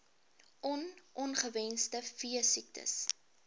on ongewenste veesiektes